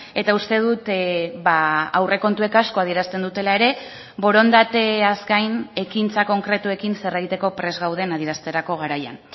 eta uste dut aurrekontuek asko adierazten dutela ere borondateaz gain ekintza konkretuekin zer egiteko prest gauden adierazterako garaian